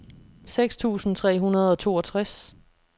seks tusind tre hundrede og toogtres